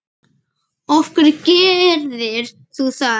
af hverju gerðir þú það?